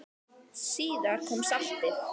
Síðar kom saltið.